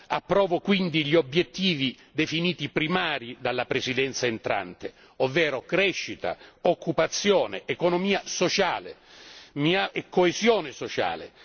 Approvo quindi gli obiettivi definiti primari dalla Presidenza entrante, ovvero crescita, occupazione, economia sociale, coesione sociale.